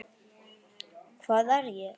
Hvað er ég?